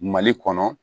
Mali kɔnɔ